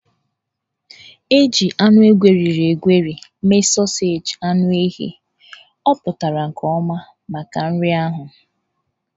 E ji anụ egweriri egweri mee sọọseji anụ ehi, ọ pụtara nke ọma maka nri. ahụ